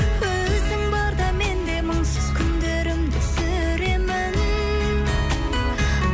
өзің барда мен де мұңсыз күндерімді сүремін